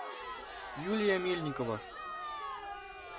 юлия мельникова